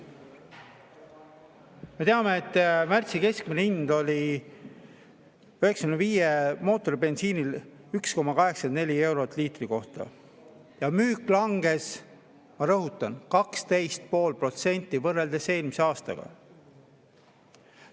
Me teame, et märtsis oli mootoribensiini 95 keskmine hind 1,84 eurot liitri kohta ja müük langes, ma rõhutan, 12,5% võrreldes eelmise aastaga.